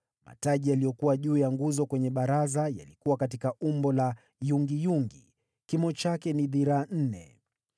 Mataji yaliyokuwa juu ya nguzo kwenye baraza, yalikuwa katika umbo la yungiyungi, kimo chake ni dhiraa nne